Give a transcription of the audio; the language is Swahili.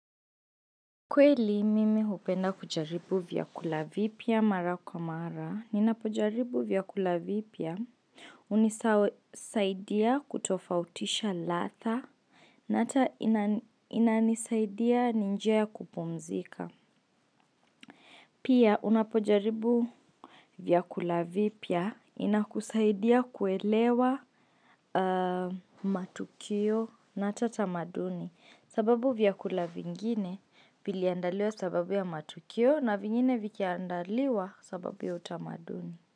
Kweli mimi hupenda kujaribu vyakula vipya mara kwa mara? Ninapojaribu vyakula vipya? Unisaidia kutofautisha latha. Na hata inanisaidia ni njia ya kupumzika. Pia unapojaribu vyakula vipya? Inakusaidia kuelewa matukio na hata tamaduni. Sababu vyakula vingine viliandaliwa sababu ya matukio na vingine vikiandaliwa sababu ya utamaduni.